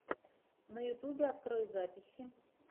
на ютубе открой записи